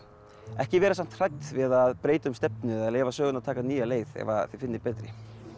ekki vera samt hrædd við að breyta um stefnu eða leyfa sögunni að taka nýja leið ef þið finnið betri